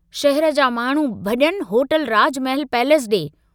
शहर जा माण्डू भञनि होटल राजमहल पैलेस डे।